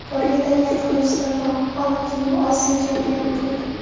Koreyadan yaqin do‘stim bor Hon Kyu Osiyo chempioni bo‘ldi.